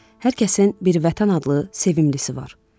Hər kəsin bir vətən adlı sevimlisisi var.